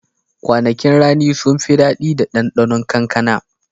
Kwanakin rani sun fi daɗi da ɗanɗanon kankana.